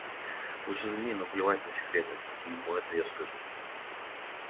уж извини но плевать на секретность ему это я скажу